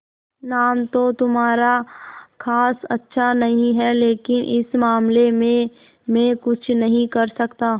नाम तो तुम्हारा खास अच्छा नहीं है लेकिन इस मामले में मैं कुछ नहीं कर सकता